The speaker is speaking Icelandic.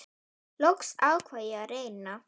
Loks ákvað ég að reyna.